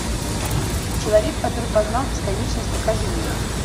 человек который познал бесконечность покажи мне